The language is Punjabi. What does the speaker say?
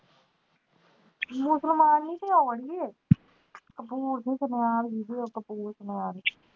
ਮੁਸਲਮਾਨ ਵੀ ਤੇ ਆਉਣ ਗੇ ਕਪੂਰ ਨੀ